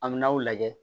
An bɛ n'aw lajɛ